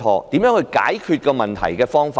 甚麼才是解決問題的方法？